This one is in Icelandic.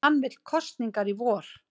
Hann vill kosningar í vor